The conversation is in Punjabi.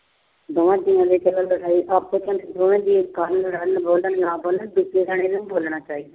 ਦੋਵਾਂ ਜੀਆਂ ਚੋਂ ਇੱਕ ਬੋਲੇ ਨਾ ਬੋਲੇ, ਦੂਜੇ ਨੂੰ ਤਾਂ ਬੋਲਣਾ ਚਾਹੀਦਾ।